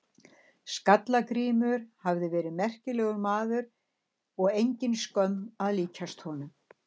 Skalla-Grímur hafi verið merkilegur maður og engin skömm að líkjast honum.